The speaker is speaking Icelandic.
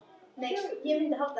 Hann sagði svo vera.